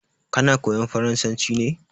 Kana koyan farasanci ne?